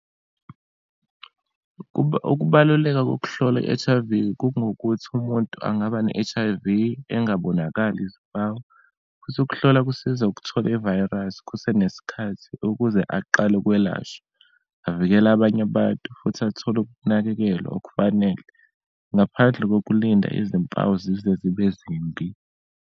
Ukubaluleka kokuhlola i-H_I_V kungukuthi umuntu angaba ne-H_I_V engabonakali izimpawu, futhi ukuhlola kusiza ukuthola ivayirasi kusenesikhathi ukuze aqale ukwelashwa, avikele abanye abantu, futhi athole ukunakekelwa okufanele, ngaphandle kokulinda izimpawu zize zibe zimbi.